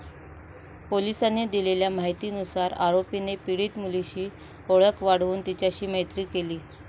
पोलिसांनी दिलेल्या माहितीनुसार, आरोपीने पीडित मुलीशी ओळख वाढवून तिच्याशी मैत्री केली.